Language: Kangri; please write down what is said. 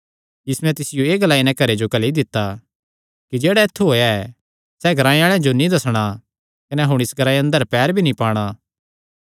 यीशुयैं तिसियो एह़ ग्लाई नैं घल्लेया इस ग्रांऐ अंदर पैर भी मत पांदा